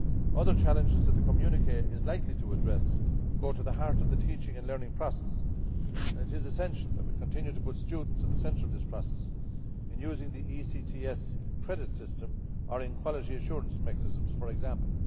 Other challenges that the communiqué is likely to address go to the heart of the teaching and learning process and it is essential that we continue to put students at the centre of this process, in using the ECTS credit system or in quality assurance mechanisms, for example.